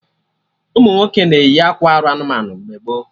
Ụmụnwoke na-eyi akwa arụ anụmanụ mgbe gboo